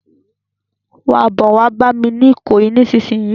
Má bò wá bàmi ni Ikoyi nisinsin